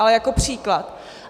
Ale jako příklad.